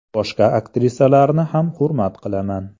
Boshqa aktrisalarni ham hurmat qilaman.